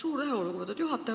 Suur tänu, lugupeetud juhataja!